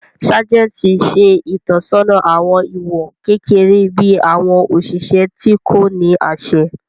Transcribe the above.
Sájẹ̀ntì ṣe ìtọ́sọ́nà àwọn ìwọ̀n kékeré bí àwọn òṣìṣẹ́ tí kò ní àṣẹ